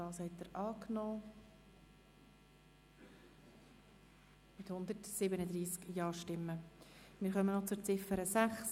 Sie haben die Ziffer 5 als Postulat angenommen mit 137 Ja-, ohne Nein-Stimmen und Enthaltungen.